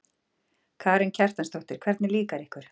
Karen Kjartansdóttir: Hvernig líkar ykkur?